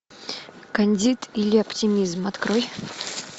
кандид или оптимизм открой